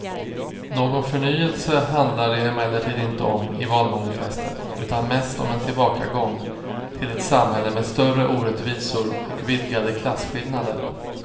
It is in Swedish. Någon förnyelse handlar det emellertid inte om i valmanifestet utan mest om en tillbakagång till ett samhälle med större orättvisor och vidgade klasskillnader.